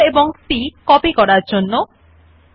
আমরা দেখতে স্বয়ংক্রিয়ভাবে শব্দ নামে করে পেস্টেড পায়